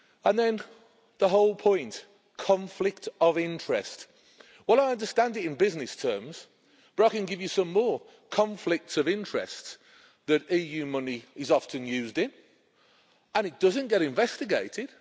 Then the whole point conflict of interest. Well, I understand it in business terms but I can give you some more conflicts of interest that EU money is often used in, and it doesn't get investigated.